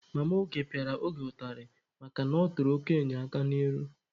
Mama Oge pịara Oge ụtarị makana ọ tụrụ okenye aka n'ihu.